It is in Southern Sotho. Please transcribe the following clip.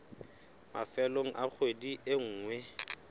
mafelong a kgwedi e nngwe